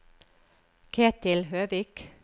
Ketil Høvik